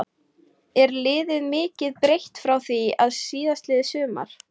Er liðið mikið breytt frá því síðastliðið sumar?